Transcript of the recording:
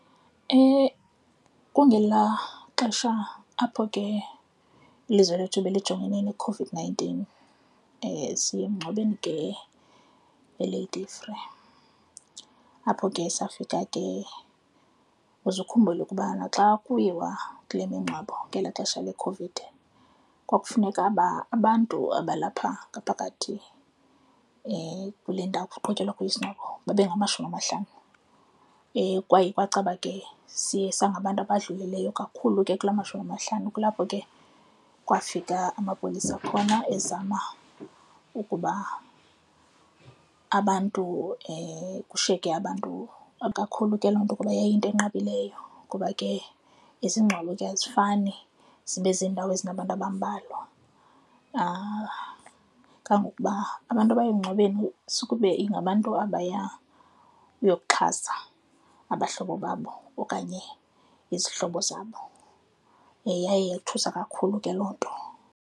Kungelaa xesha apho ke ilizwe lethu belijongene neCOVID-nineteen. Siye emngcwabeni ke eLady Fere, apho ke safika ke uze ukhumbule ukubana xa kuyiwa kule mngcwabo ngelaa xesha leCOVID, kwakufuneka abantu abalapha ngaphakathi kule ndawo kuqhutyelwa kuyo isingcwabo babengamashumi amahlanu. Kwaye kwacaba ke siye sangabantu abadlulileyo kakhulu ke kula mashumi amahlanu kulapho ke kwafika amapolisa khona ezama ukuba abantu kushiyeke abantu kakhulu ke loo nto kuba yayiyinto enqabileyo ngoba ke izingcwabo ke azifani zibe zendawo ezinabantu abambalwa kangokuba abantu abaye emngcwabeni sukube ingabantu abaya uyokuxhasa abahlobo babo okanye izihlobo zabo, yaye yothusa kakhulu ke loo nto.